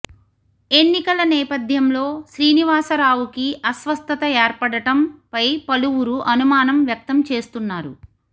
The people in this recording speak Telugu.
ఎన్నికల నేపథ్యంలో శ్రీనివాసరావుకి అస్వస్థత ఏర్పడటం పై పలువురు అనుమానం వ్యక్తం చేస్తున్నారు